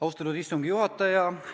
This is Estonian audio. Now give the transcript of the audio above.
Austatud istungi juhataja!